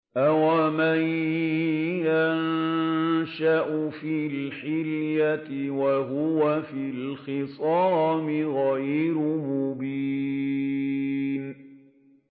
أَوَمَن يُنَشَّأُ فِي الْحِلْيَةِ وَهُوَ فِي الْخِصَامِ غَيْرُ مُبِينٍ